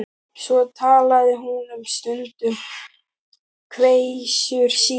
Svo talaði hún um stund um kveisur sínar.